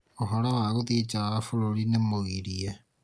ũhoro wa gũthiĩ ja wa bũrũrĩ nĩ mũgirie